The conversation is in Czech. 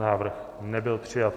Návrh nebyl přijat.